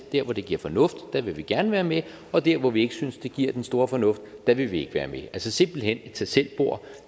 dér hvor det det er fornuftigt vil vi gerne være med og dér hvor vi ikke synes der er den store fornuft i det vil vi ikke være med altså simpelt hen et tag selv bord